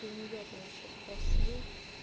ты у неё то вообще спросил